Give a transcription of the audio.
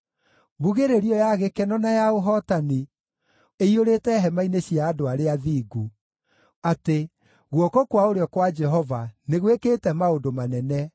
Mbugĩrĩrio ya gĩkeno na ya ũhootani ĩiyũrĩte hema-inĩ cia andũ arĩa athingu, atĩ: “Guoko kwa ũrĩo kwa Jehova nĩ gwĩkĩte maũndũ manene!